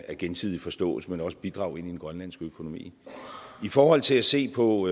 gensidig forståelse men også bidrag til den grønlandske økonomi i forhold til at se på